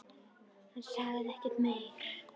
Hann sagði ekki meira.